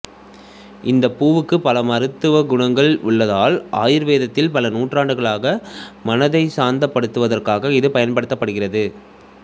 இந்த பூவுக்கு பல மருத்துவ குணங்கள் உள்ளதால் ஆயுர்வேத்தில் பல நூற்றாண்டுகளாக மனதைச் சாந்தப்படுத்துவதற்காக இது பயன்படுத்தபடுகிறது